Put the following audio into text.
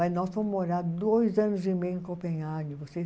Aí nós fomos morar dois anos e meio em Copenhague.